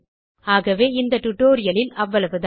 ஆகவே இந்த டியூட்டோரியல் இல் அவ்வளவுதான்